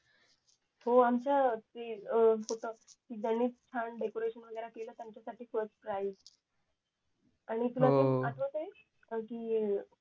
हो आमच्या